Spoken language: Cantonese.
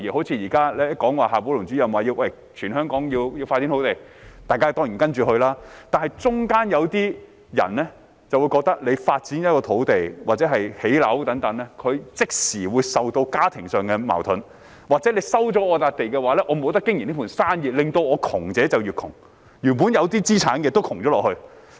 正如現時夏寶龍主任說全香港要開發土地，大家當然按着辦，但在過程中有些人就會覺得，發展一幅土地或建屋等，他們即時會受到家庭上的矛盾衝擊，或是他們被收回土地的話，便不能經營原有生意，導致窮者越窮，原本有一點資產的也變得貧窮。